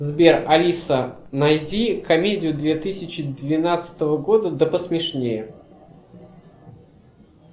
сбер алиса найди комедию две тысячи двенадцатого года да посмешнее